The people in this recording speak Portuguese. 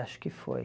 Acho que foi.